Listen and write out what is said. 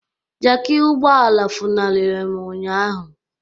Jaki ụgbọala funariri m ụnyaahụ